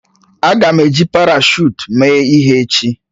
Aga m eji parashụt mee ihe echi